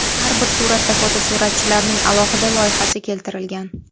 Har bir suratda fotosuratchilarning alohida loyihasi keltirilgan.